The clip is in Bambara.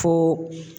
Fo